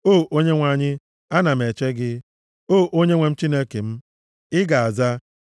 O Onyenwe anyị, ana m eche gị; o Onyenwe m Chineke m, ị ga-aza.